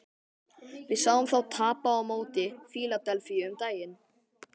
Við sáum þá tapa á móti Fíladelfíu um daginn.